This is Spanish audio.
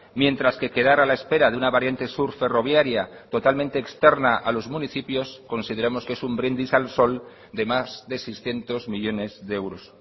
mientras que quedar a la espera de una variante sur ferroviaria totalmente externa a los municipios consideramos que es un brindis al sol de más de seiscientos millónes de euros